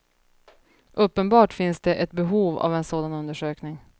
Uppenbart finns det ett behov av en sådan undersökning.